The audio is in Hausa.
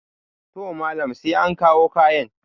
to Malam sai an kawo kayan